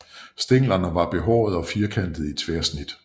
Stænglerne er behårede og firkantede i tværsnit